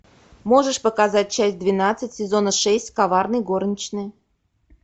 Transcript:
можешь показать часть двенадцать сезона шесть коварные горничные